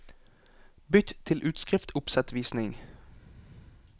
Bytt til utskriftsoppsettvisning